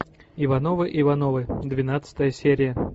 ивановы ивановы двенадцатая серия